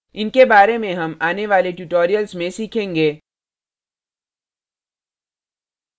इनके बारे में हम आने वाले tutorials में सीखेंगे